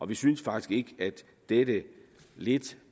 vi synes faktisk ikke at dette lidt